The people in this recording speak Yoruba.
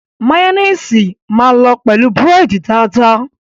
Máyóníìsì máa lọ pẹ̀lú búrẹ́dì dáadáa.